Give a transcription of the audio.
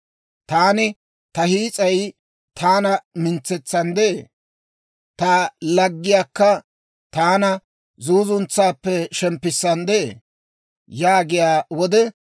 Taani, ‹Ta hiis'ay taana mintsetsanddee; ta alggayikka taana zuuzuntsaappe shemppissanddee!› yaagiyaa wode,